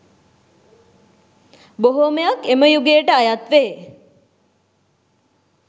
බොහෝමයක් එම යුගයට අයත් වේ